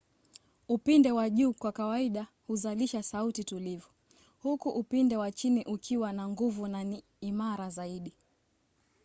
upinde wa juu kwa kawaida huzalisha sauti tulivu huku upinde wa chini ukiwa na nguvu na ni imara zaidi